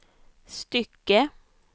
stycke